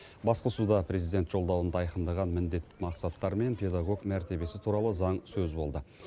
басқосуда президент жолдауында айқындаған міндет мақсаттар мен педагог мәртебесі туралы заң сөз болды